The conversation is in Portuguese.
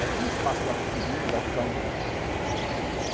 Aí foi um espaço lá que tinha bem legal, o country.